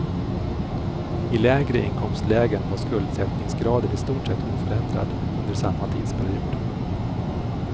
I lägre inkomstlägen var skuldsättningsgraden i stort sett oförändrad under samma tidsperiod.